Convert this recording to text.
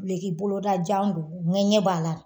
Dunloki boloda jan don ŋɛɲɛ b'a la.